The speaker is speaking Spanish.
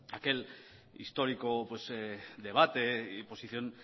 aquel histórico debate y posición